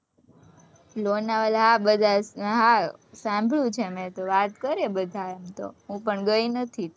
લોનાવાલા, હા હા, સાંભળ્યું છે મેં તો, વાત કરે બધા એમ તો, હું પણ ગઈ નથી,